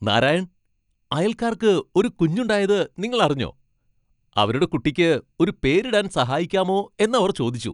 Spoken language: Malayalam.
നാരായൺ, അയൽക്കാർക്ക് ഒരു കുഞ്ഞുണ്ടായത് നിങ്ങൾ അറിഞ്ഞോ? അവരുടെ കുട്ടിക്ക് ഒരു പേരിടാൻ സഹായിക്കാമോ എന്നവർ ചോദിച്ചു.